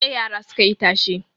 Jiya yara suka yi tashe.